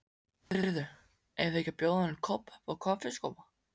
Heyrðu, eigum við ekki að bjóða honum Kobba uppá kaffisopa?